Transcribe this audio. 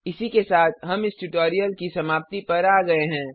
इसी के साथ हम इस ट्यूटोरियल की समाप्ति पर आ गये हैं